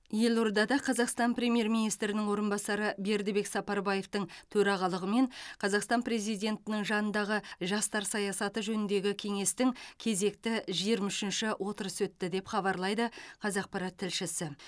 елордада қазақстан премьер министрінің орынбасары бердібек сапарбаевтың төрағалығымен қазақстан президентінің жанындағы жастар саясаты жөніндегі кеңестің кезекті жиырма үшінші отырысы өтті деп хабарлайды қазақпарат тілшісі